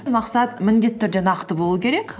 мақсат міндетті түрде нақты болу керек